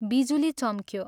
बिजुली चम्क्यो।